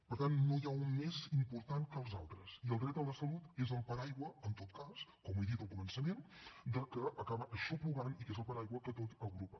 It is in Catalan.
per tant no n’hi ha un més important que els altres i el dret a la salut és el paraigua en tot cas com he dit al començament que acaba aixoplugant i que és el paraigua que tot ho agrupa